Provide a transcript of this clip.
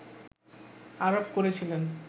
আরোপ করেছিলেন